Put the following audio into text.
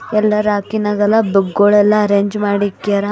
ಎಲ್ಲಾ ರ್ಯಾಕಿನಗೆಲ್ಲ ಬುಕ್ಕ್ ಗುಳೆಲ್ಲ ಅರೇಂಜ್ ಮಾಡಿ ಇಕ್ಯಾರ.